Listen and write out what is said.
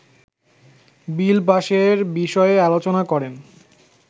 বিল পাশের বিষয়ে আলোচনা করেন